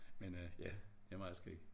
Men øh ja det meget skægt